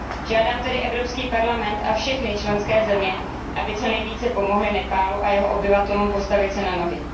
Žádám tedy Evropský parlament a všechny členské země, aby co nejvíce pomohly Nepálu a jeho obyvatelům postavit se na nohy.